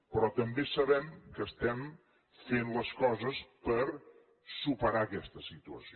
però també sabem que estem fent les coses per superar aquesta situació